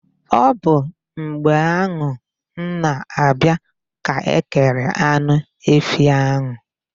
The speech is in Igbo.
Ọ bụ mgbe ahụ m na-abịa ka e kere anụ efi ahụ.